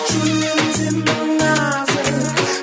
жүрегің сенің нәзік